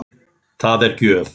Það er gjöf.